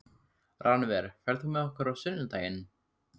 Rannver, ferð þú með okkur á sunnudaginn?